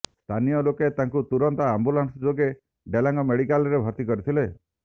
ସ୍ଥାନୀୟ ଲୋକେ ତାଙ୍କୁ ତୁରନ୍ତ ଆମ୍ବୁଲାନ୍ସ ଯୋଗେ ଡେଲାଙ୍ଗ ମେଡିକାଲରେ ଭର୍ତ୍ତି କରିଥିଲେ